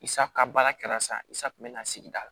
Isa ka baara kɛra sa i sakun bɛ na sigida la